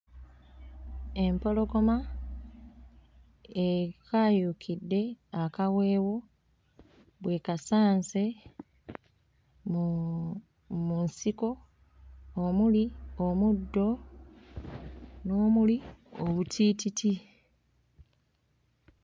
Empologoma ekaayuukidde akaweewo bw'ekasanze mu mu nsiko omuli omuddo n'omuli obutiititi.